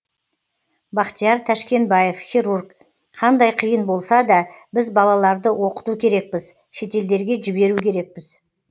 бахтияр тәшкенбаев хирург қандай қиын болса да біз балаларды оқыту керекпіз шетелдерге жіберу керекпіз